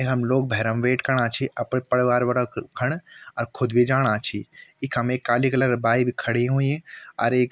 हम लोग भैरम वेट कना छी अपर परिवार वारक खण अर खुद भी जाणा छी इखम एक काली कलर क बाइक भी खड़ीं हुयीं अर एक --